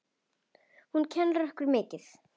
Hún kennir okkur mikið.